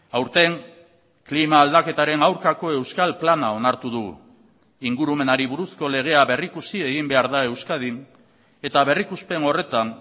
aurten klima aldaketaren aurkako euskal plana onartu dugu ingurumenari buruzko legea berrikusi egin behar da euskadin eta berrikuspen horretan